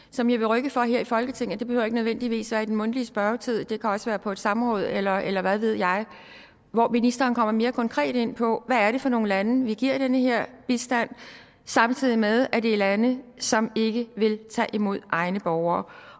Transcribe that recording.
som jeg vil rykke for her i folketinget og det behøver ikke nødvendigvis være i den mundtlige spørgetid det kan også være på et samråd eller eller hvad ved jeg hvor ministeren kommer mere konkret ind på hvad det er for nogle lande vi giver den her bistand samtidig med at det er lande som ikke vil tage imod egne borgere